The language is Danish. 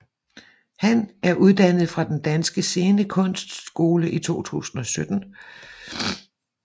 Han er uddannet fra Den Danske Scenekunstskole i 2017